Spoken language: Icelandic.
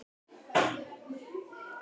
Margeir, hvað geturðu sagt mér um veðrið?